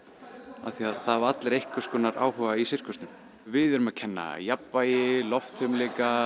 af því að það hafa allir einhverskonar áhuga í sirkusnum við erum að kenna jafnvægi loftfimleika